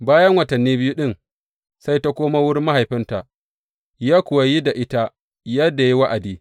Bayan watanni biyu ɗin sai ta komo wurin mahaifinta ya kuwa yi da ita yadda ya yi wa’adi.